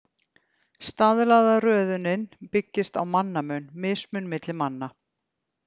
Staðlaða röðunin byggist á mannamun, mismun milli manna.